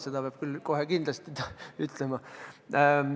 Seda peab küll kohe kindlasti ütlema.